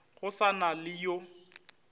go sa na le yo